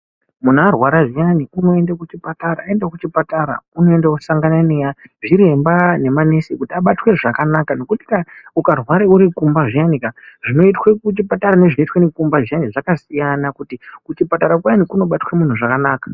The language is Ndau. Minhu arwara zviyani unoenda kuchipatara aenda kuchipatara unoosangana nexviremba nemanesi kuti abatwe zvakanaka ngekuti ukarwara urikumba zviyanika zvinoitwe kuchipatara nezvinoitwe limba zvakasiyana ngekuti kuchipatara kuyani kunobatwe munhu zvakanaka.